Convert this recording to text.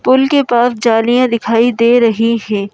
पुल के पास जालियां दिखाई दे रही हैं।